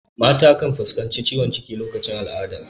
Mata kan fuskantar ciwon ciki lokacin al'ada.